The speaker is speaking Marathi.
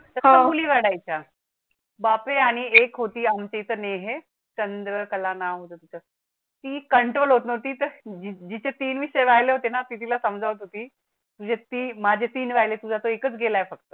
बापें आणि एक होती आमच्याइथे नेह चंद्रकला ना होतं तिचं ती control होत नव्हती तर जिचे जिचे तीन विषय रायले होते ना ती तिला समजावत होती. म्हणजे ती माझे तीन रायले तुझा तर एकच एक गेलाय फक्त.